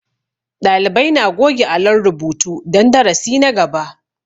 Ɗalibai na goge alon rubutu don darasi na gaba